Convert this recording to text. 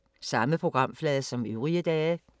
Samme programflade som øvrige dage